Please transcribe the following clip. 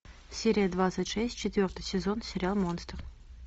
серия двадцать шесть четвертый сезон сериал монстр